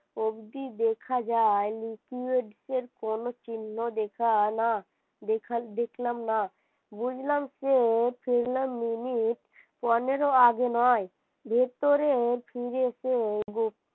অব্দি দেখা যায় liquids কোন চিহ্ন দেখানা দেখলাম না বুঝলাম সে ফিরলো minutes পনেরো আগে নয়। ভেতরে ফিরে সে